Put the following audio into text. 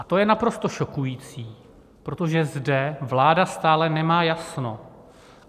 A to je naprosto šokující, protože zde vláda stále nemá jasno.